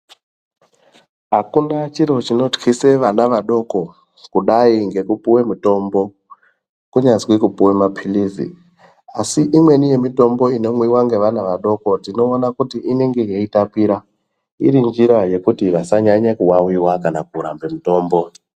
Hakuna chiro chinothlise vana vadoko kudai ngekupiwe mitombo kunyazwi kupuwe mapilisi asi imweni yemitombo inomwiwe ngevana vadoko tinowona kuti inenge yeitapira iri nzira yekuti vasanyanye kuwawiwa kana kurambe mitombo.